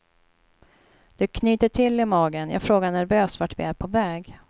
Det knyter till i magen, jag frågar nervöst vart vi är på väg.